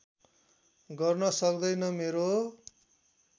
गर्न सक्दैन मेरो